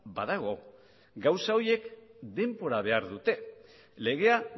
badago gauza horiek denbora behar dute legea